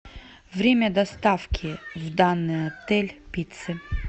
время доставки в данный отель пиццы